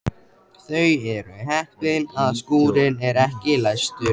Þau eru heppin að skúrinn er ekki læstur.